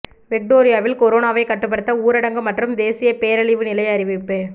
விக்டோரியாவில் கொரோனாவை கட்டுப்படுத்த ஊரடங்கு மற்றும் தேசிய பேரழிவு நிலை அறிவிப்பு